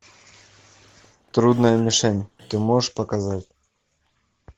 трудная мишень ты можешь показать